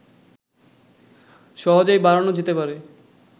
সহজেই বাড়ানো যেতে পারে